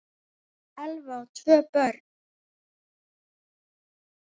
Elva á tvö börn.